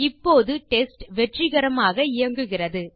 இப்போது டெஸ்ட் வெற்றிகரமாக இயங்குகிறது